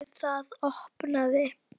Við það opnaði